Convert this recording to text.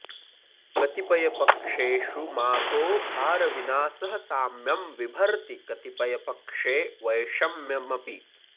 कतिपयपक्षेषु माघो भारविना सह साम्यं विभर्ति कतिपयपक्षे वैषम्यमपि